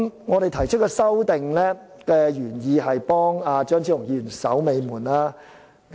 我們提出修正案的原意是為張超雄議員"守尾門"。